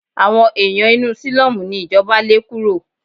Àwọn ẹ̀yàn inú sílọ́mù ni ìjọba lé kúrò.